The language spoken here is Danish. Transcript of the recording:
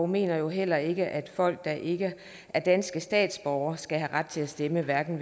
mener heller ikke at folk der ikke er danske statsborgere skal have ret til at stemme ved hverken